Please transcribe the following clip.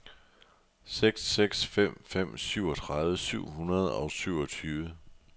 seks seks fem fem syvogtredive syv hundrede og syvogtyve